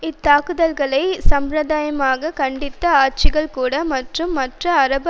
இத்தாக்குதல்களை சம்பிரதாயமாக கண்டித்த ஆட்சிகள்கூட மற்றும் மற்ற அரபு